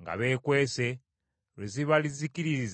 nga beekwese, lwe ziribazikiririza ddala.